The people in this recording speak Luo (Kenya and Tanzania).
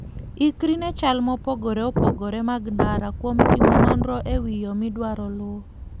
Ikri ne chal mopogore opogore mag ndara kuom timo nonro e wi yo midwaro luwo.